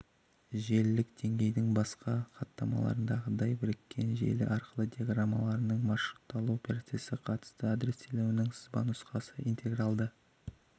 желілік деңгейдің басқа хаттамаларындағыдай біріккен желі арқылы диаграммаларының маршрутталу процесіне қатысты адрестелінуінің сызбанұсқасы интегралды